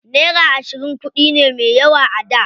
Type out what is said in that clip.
Naira ashirin kuɗi ne me yawa a da.